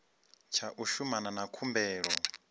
tsha u shumana na khumbelo